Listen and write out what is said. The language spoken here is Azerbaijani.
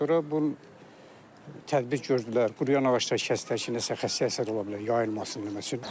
Sonra bu tədbir gördülər, quruyan ağacları kəsdilər ki, nəsə xəstəlik əsas ola bilər, yayılmasın nə bilim mən.